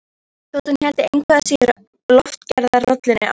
Þótt hún héldi engu að síður lofgerðarrollunni áfram.